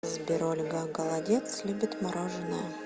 сбер ольга голодец любит мороженое